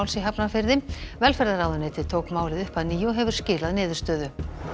í Hafnarfirði velferðarráðuneytið tók málið upp að nýju og hefur skilað niðurstöðu